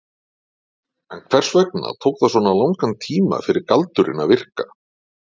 En hvers vegna tók það svona langan tíma fyrir galdurinn að virka?